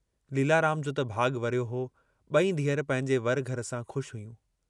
लीलाराम जो त भाॻु वरियो हो ॿेई धीअरु पंहिंजे वर-घर सां खु़शि हुयूं।